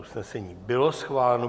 Usnesení bylo schváleno.